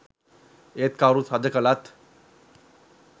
ඒත් කවුරු රජ කලත්